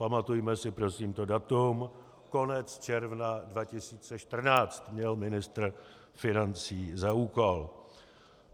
Pamatujme si prosím to datum, konec června 2014 měl ministr financí za úkol.